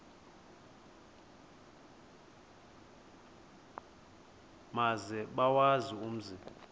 maze bawazi umzi